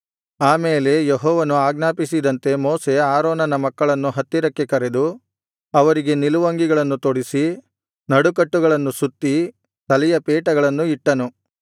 ಆ ಮೇಲೆ ಯೆಹೋವನು ಆಜ್ಞಾಪಿಸಿದಂತೆ ಮೋಶೆ ಆರೋನನ ಮಕ್ಕಳನ್ನು ಹತ್ತಿರಕ್ಕೆ ಕರೆದು ಅವರಿಗೆ ನಿಲುವಂಗಿಗಳನ್ನು ತೊಡಿಸಿ ನಡುಕಟ್ಟುಗಳನ್ನು ಸುತ್ತಿ ತಲೆಗೆ ಪೇಟಗಳನ್ನು ಇಟ್ಟನು